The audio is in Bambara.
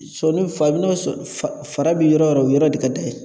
Sɔni fa a bi n'o sɔ fa fara bi yɔrɔ yɔrɔ de ka d'a ye